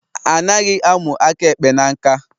Anaghị a mụ aka ekpe na nkà